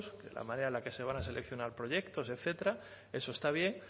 de la manera en la que se van a seleccionar proyectos etcétera eso está bien